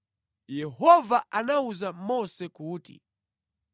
Yehova anawuza Mose kuti,